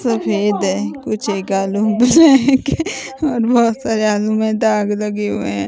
सफ़ेद हैं कुछ और बहोत सारे आलु में दाग लगे हुएं हैं।